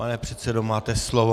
Pane předsedo, máte slovo.